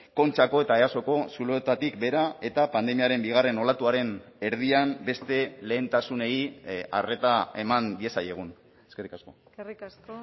kontxako eta easoko zuloetatik behera eta pandemiaren bigarren olatuaren erdian beste lehentasunei arreta eman diezaiegun eskerrik asko eskerrik asko